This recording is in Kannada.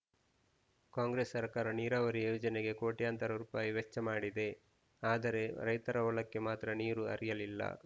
ಕಾಂಗ್ರೆಸ್‌ ಸರ್ಕಾರ ನೀರಾವರಿ ಯೋಜನೆಗೆ ಕೋಟ್ಯಂತರ ರುಪಾಯಿ ವೆಚ್ಚ ಮಾಡಿದೆ ಆದರೆ ರೈತರ ಹೊಲಕ್ಕೆ ಮಾತ್ರ ನೀರು ಹರಿಯಲಿಲ್ಲ